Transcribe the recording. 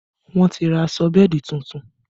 Wọ́n ti ra aṣọ bẹ́ẹ̀dì tuntun